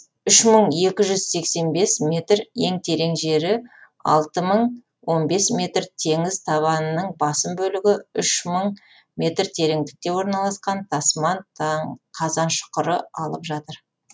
үш мың екі жүз сексен бес метр ең терең жері алты мың он бес метр теңіз табанының басым бөлігі үш мың метр тереңдікте орналасқан тасман қазан шұқыры алып жатыр